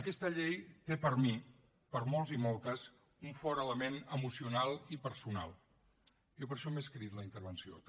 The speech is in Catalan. aquesta llei té per mi per molts i moltes un fort element emocional i personal jo per això m’he escrit la intervenció també